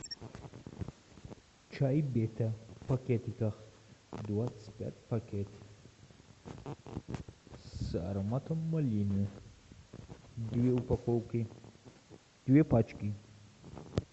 чай петя в пакетиках двадцать пять пакетиков с ароматом малины две упаковки две пачки